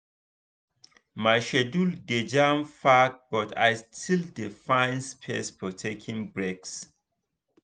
my schedule dey jam-packed but i still dey find space for taking breaks.